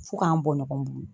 Fo k'an bɔ nɔgɔn bolo